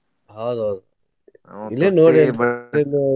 ಹೌದ್ ಹೌದ್ ಇಲ್ಲೆ ನೋಡಿ .